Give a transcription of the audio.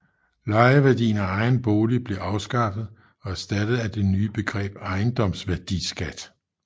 Lejeværdien af egen bolig blev afskaffet og erstattet af det nye begreb ejendomsværdiskat